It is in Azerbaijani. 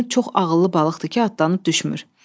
Görünür çox ağıllı balıqdır ki, atdanıb düşmür.